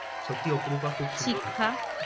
সত্যি অপরূপা খুব সুন্দর